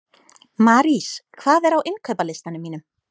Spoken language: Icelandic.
Marís, hvað er á innkaupalistanum mínum?